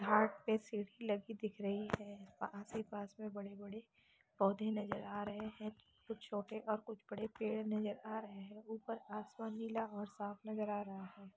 घाट पे सीढ़ी लगी दिख रही है और आस ही पास मे बड़े- बड़े पौधे नजर आ रहे हैं कुछ छोटे और कुछ बड़े पेड़ नजर आ रहे हैं ऊपर आसमान नीला और साफ़ नज़र आ रहा है।